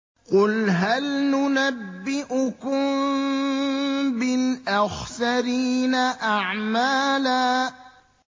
قُلْ هَلْ نُنَبِّئُكُم بِالْأَخْسَرِينَ أَعْمَالًا